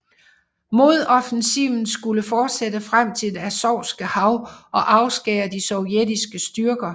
Modoffensiven skulle fortsætte frem til det Azovske Hav og afskære de sovjetiske styrker